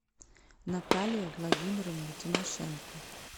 наталья владимировна тимошенко